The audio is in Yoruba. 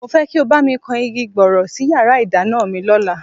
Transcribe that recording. Mo fẹ́ kí ó bá mi kan igi gbọọrọ sí yàrá ìdáná mi lọ́la